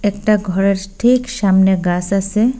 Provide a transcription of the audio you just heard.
একটা ঘরের ঠিক সামনে গাস আসে ।